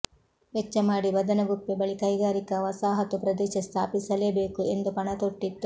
ವೆಚ್ಚ ಮಾಡಿ ಬದನಗುಪ್ಪೆ ಬಳಿ ಕೈಗಾರಿಕಾ ವಸಾಹತು ಪ್ರದೇಶ ಸ್ಥಾಪಿಸಲೇಬೇಕು ಎಂದು ಪಣ ತೊಟ್ಟಿತ್ತು